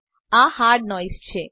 આ hard noise છે